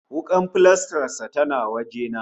Wuƙar filastar sa tana waje na